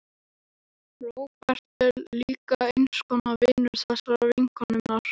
Róbert er líka eins konar vinur þessarar vinkonu minnar.